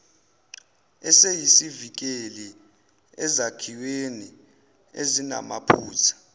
esiyisivikeli ezakhiweni ezinamaphutha